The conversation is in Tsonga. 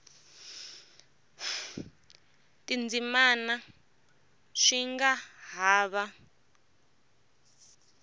tindzimana swi nga ha va